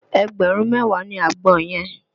Ẹgbẹ̀rún mẹ́wàá ni àgbọn yẹn